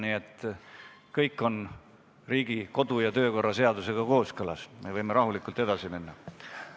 Nii et kõik on Riigikogu kodu- ja töökorra seadusega kooskõlas, me võime rahulikult edasi minna.